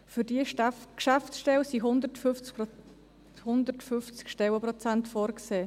Für diese Geschäftsstelle sind 150 Stellenprozente vorgesehen;